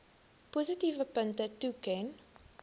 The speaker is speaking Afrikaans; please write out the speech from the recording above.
positiewe punte toeken